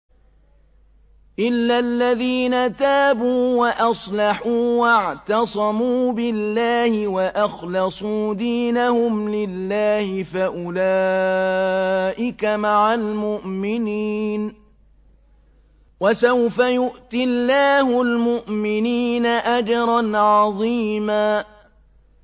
إِلَّا الَّذِينَ تَابُوا وَأَصْلَحُوا وَاعْتَصَمُوا بِاللَّهِ وَأَخْلَصُوا دِينَهُمْ لِلَّهِ فَأُولَٰئِكَ مَعَ الْمُؤْمِنِينَ ۖ وَسَوْفَ يُؤْتِ اللَّهُ الْمُؤْمِنِينَ أَجْرًا عَظِيمًا